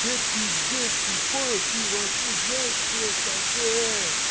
тебе пиздец ты понял ты вообще знаешь кто я такой ээ